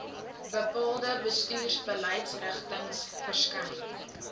bepaalde bestuursbeleidsrigtings verskyn